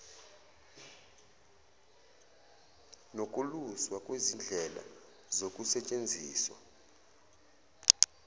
nokuluswa kwezindlela zokusetshenziswa